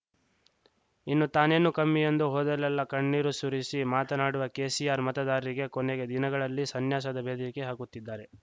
ಇನ್ನು ತಾನೇನು ಕಮ್ಮಿ ಎಂದು ಹೋದಲ್ಲೆಲ್ಲಾ ಕಣ್ಣೀರು ಸುರಿಸಿ ಮಾತನಾಡುವ ಕೆಸಿಆರ್‌ ಮತದಾರರಿಗೆ ಕೊನೆಗೆ ದಿನಗಳಲ್ಲಿ ಸನ್ಯಾಸದ ಬೆದರಿಕೆ ಹಾಕುತ್ತಿದ್ದಾರೆ